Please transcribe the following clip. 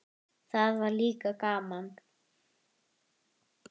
Það var líka gaman.